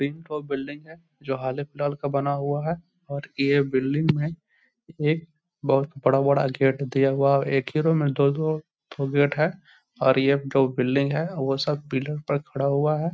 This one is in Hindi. बिल्डिंग है जो हाले फिलहाल का बना हुआ है और ये बिल्डिंग में ये बहुत बड़ा-बड़ा गेट दिया हुआ है एक ही रूम में दो दो ठो गेट है और ये जो बिल्डिंग है वो सब पिलर पर खड़ा हुआ है।